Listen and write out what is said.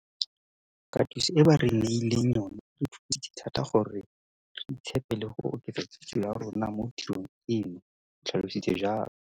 Katiso e ba re neileng yona e re thusitse thata gore re itshepe le go oketsa kitso ya rona mo tirong eno, o tlhalositse jalo.